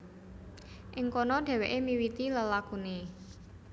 Ing kono dhèwèké miwiti lelakuné